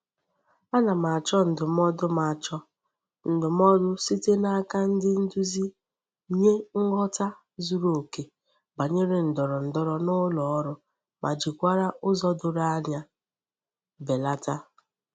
Ana m acho ndumodu m acho ndumodu site n'aka ndi nduzi nye nghota zuru oke banyere ndoro ndoro n'uloru ma jikwara uzo doro anya belata.